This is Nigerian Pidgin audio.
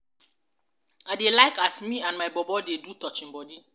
i dey like as me and my bobo dey take do touching bodi.